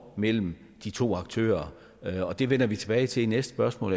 imellem de to aktører og det vender vi tilbage til i næste spørgsmål